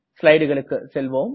ஸ்லைடுகளுக்கு செல்வோம்